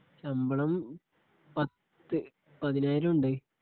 ശബളം പത്തു പതിനായിരം ഉണ്ടേ